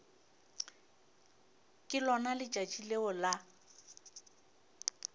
ke lona letšatši leo la